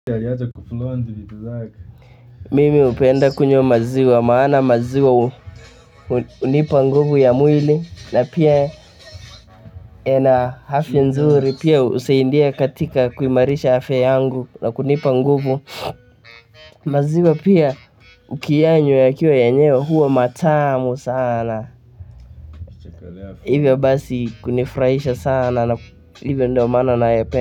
Mimi hupenda kunywa maziwa maana maziwa hunipa nguvu ya mwili na pia ina afya nzuri pia husaidia katika kuimarisha afya yangu na kunipa nguvu maziwa pia ukiyanywa yakiwa yenyewe huwa matamu sana hivyo basi kunifurahisha sana na hivyo ndio maana nayapenda.